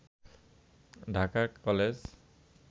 Dhaka college